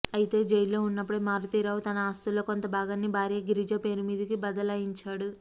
అయితే జైల్లో ఉన్నప్పుడే మారుతీరావు తన ఆస్తుల్లో కొంత భాగాన్ని భార్య గిరిజ పేరుమీదకు బదలాయించాడు